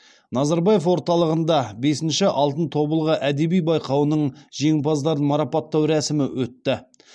назарбаев орталығында бесінші алтын тобылғы әдеби байқауының жеңімпаздарын марапаттау рәсімі өтті